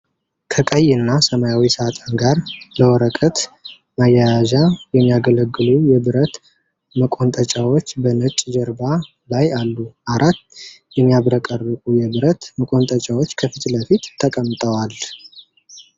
ከቀይ እና ሰማያዊ ሳጥን ጋር ለወረቀት ማያያዣ የሚያገለግሉ የብረት መቆንጠጫዎች በነጭ ጀርባ ላይ አሉ። አራት የሚያብረቀርቁ የብረት መቆንጠጫዎች ከፊት ለፊት ተቀምጠዋል።